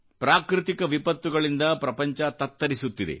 ಪ್ರಾಕೃತಿಕ ವಿಪತ್ತುಗಳಿಂದ ಪ್ರಪಂಚತತ್ತರಿಸುತ್ತಿದೆ